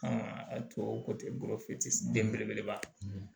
a tubabu tɛ den belebeleba